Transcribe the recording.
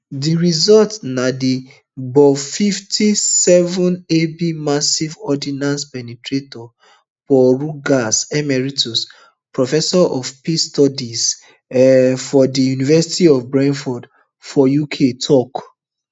di result na di gbufifty-sevenab massive ordnance penetrator paul rogers emeritus professor of peace studies um for di university of bradford for uk tok